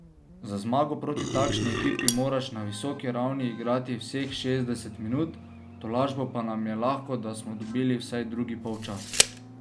Za zmago proti takšni ekipi moraš na visoki ravni igrati vseh šestdeset minut, v tolažbo pa nam je lahko, da smo dobili vsaj drugi polčas.